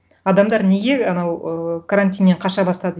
адамдар неге анау ы карантиннен қаша бастады